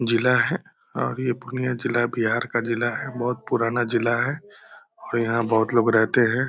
जिला है और ये पूर्णियाँ जिला बिहार का जिला है। बहुत पुराना जिला है और यहाँ बहुत लोग रहते हैं।